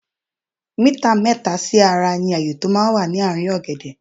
Mítà mẹ́ta sí ara ní ààyé tó máa ń wà ní ààrín ọ̀gẹ̀dẹ̀.